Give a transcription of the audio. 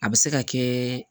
A bɛ se ka kɛ